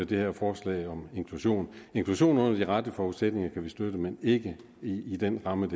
det her forslag om inklusion inklusion under de rette forudsætninger kan vi støtte men ikke i den ramme